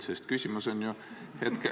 ... sest küsimus on ju hetkel ...